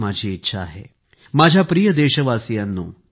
माझ्या प्रिय देशवासियांनो